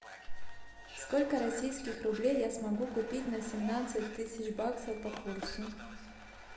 сколько российских рублей я смогу купить на семнадцать тысяч баксов по курсу